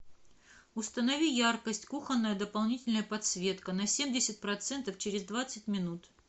установи яркость кухонная дополнительная подсветка на семьдесят процентов через двадцать минут